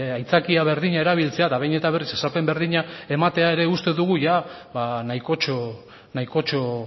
aitzakia berdina erabiltzea eta behin eta berriz esaten berdina ematea ere uste dugu ia ba nahikotxo nahikotxo